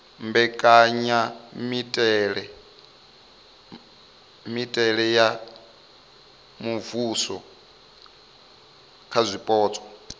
mbekanyamitele ya muvhuso kha zwipotso